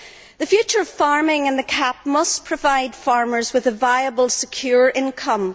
The future of farming and the CAP must provide farmers with a viable secure income.